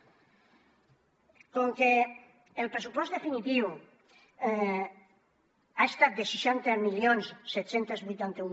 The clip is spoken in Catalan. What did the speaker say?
com que el pressupost definitiu ha estat de seixanta mil set cents i vuitanta un